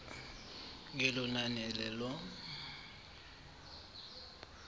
ngelo nani lelo